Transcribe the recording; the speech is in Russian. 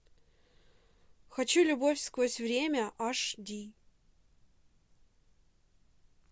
хочу любовь сквозь время аш ди